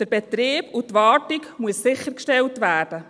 Der Betrieb und die Wartung müssen sichergestellt werden.